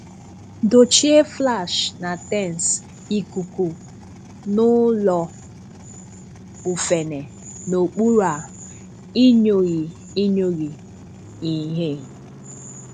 Dochie flash na tensi ikuku n’ụlọ́ ùfèné, n’okpùrù a inyòghì inyòghì ìhè.